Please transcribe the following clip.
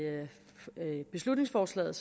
beslutningsforslaget